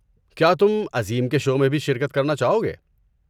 کیا تم عظیم کے شو میں بھی شرکت کرنا چاہو گے؟